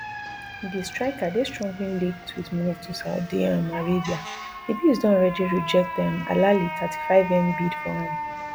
di striker dey strongly linked wit move to saudi um arabia di bees don already reject um alahli thirty-fivem bid for am